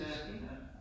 Ja ja, ja